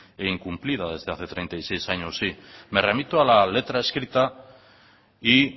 e incumplida desde hace treinta y seis años sí me remito a la letra escrita y